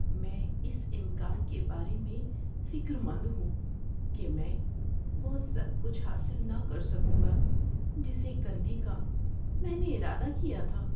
میں اس امکان کے بارے میں فکر مند ہوں کہ میں وہ سب کچھ حاصل نہ کر سکوں گا جسے کرنے کا میں نے ارادہ کیا تھا۔